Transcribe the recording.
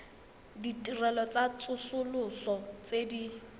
ditirelo tsa tsosoloso tse di